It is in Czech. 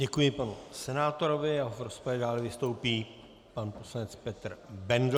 Děkuji panu senátorovi a v rozpravě dále vystoupí pan poslanec Petr Bendl.